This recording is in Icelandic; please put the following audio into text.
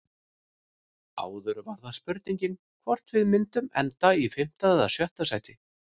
Áður var það spurningin hvort við myndum enda í fimmta eða sjötta sæti.